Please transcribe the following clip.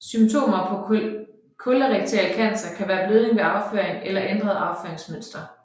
Symptomer på kolorektal cancer kan være blødning ved afføring eller ændret afføringsmønster